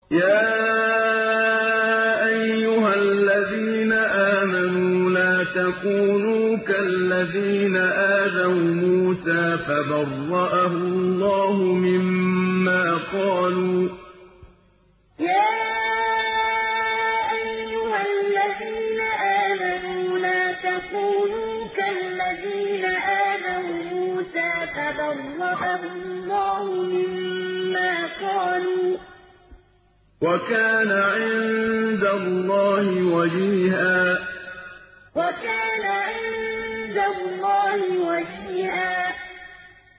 يَا أَيُّهَا الَّذِينَ آمَنُوا لَا تَكُونُوا كَالَّذِينَ آذَوْا مُوسَىٰ فَبَرَّأَهُ اللَّهُ مِمَّا قَالُوا ۚ وَكَانَ عِندَ اللَّهِ وَجِيهًا يَا أَيُّهَا الَّذِينَ آمَنُوا لَا تَكُونُوا كَالَّذِينَ آذَوْا مُوسَىٰ فَبَرَّأَهُ اللَّهُ مِمَّا قَالُوا ۚ وَكَانَ عِندَ اللَّهِ وَجِيهًا